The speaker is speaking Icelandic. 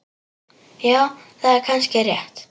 Já, það er kannski rétt.